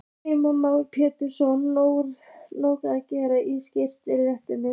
Heimir Már Pétursson: Nóg að gera í skiltagerðinni?